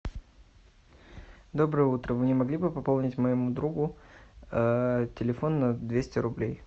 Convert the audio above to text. доброе утро вы не могли бы пополнить моему другу телефон на двести рублей